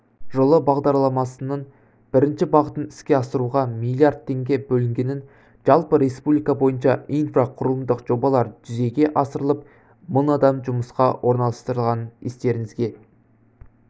жылы бағдарламасының бірінші бағытын іске асыруға миллиард теңге бөлінгенін жалпы республика бойынша инфрақұрылымдық жобалар жүзеге асырылып мың адам жұмысқа орналастырылғанын естеріңізге